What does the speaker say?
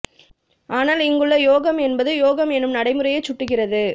ஆனால் இங்குள்ள யோகம் என்பது யோகம் என்னும் நடைமுறையைச் சுட்டுகிறது